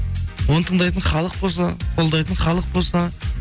оны тыңдайтын халық болса қолдайтын халық болса